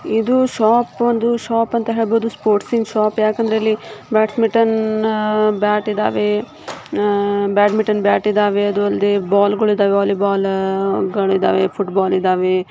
ಇದು ಶಾಪ್ ಒಂದು ಶಾಪ್ ಅಂತ ಹೇಳ್ಬೋದು ಸ್ಪೋರ್ಟ್ಸ್ ಇನ್ ಶಾಪ್ ಯಾಕೆಂದರೆ ಇಲ್ಲಿ ಬ್ಯಾಡ್ಮಿಂಟನ್ ಬ್ಯಾಟ್ ಇದಾವೆ ಅಹ್ ಬ್ಯಾಡ್ಮಿಂಟನ್ ಬ್ಯಾಟ್ ಇದಾವೆ ಅದು ಅಲ್ಲದೆ ಬಾಲ್ ಗೋಲ್ ಇದಾವೆ ವೋಳ್ಳೀಯ್ ಬಾಲ್ ಗಳಿದ್ದಾವೆ ಫುಟ್ಬಾಲ್ ಇದಾವೆ.